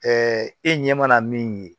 e ɲɛ mana min ye